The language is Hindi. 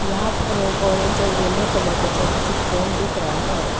यहां पर एक ऑरेंज और यलो कलर का छोटी सी ट्रेन दिख रहा है।